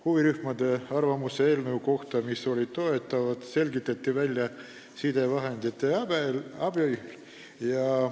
Huvirühmade arvamused eelnõu kohta, mis olid toetavad, selgitati välja sidevahendite abil.